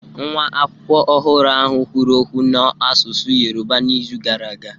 Nwa akwụkwọ ọhụrụ a kwuru okwu n'asụsụ Yoruba n'izu gara aga